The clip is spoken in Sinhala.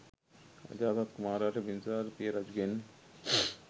අජාසත් කුමාරයාට බිම්බිසාර පිය රජුගෙන්